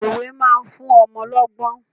Òwe máa fún ọmọ lọ́gbọ́n.